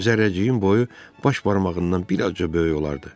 Zərrəciyin boyu baş barmağından bir azca böyük olardı.